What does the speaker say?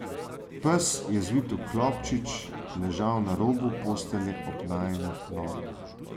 Pes je zvit v klobčič ležal na robu postelje ob najinih nogah.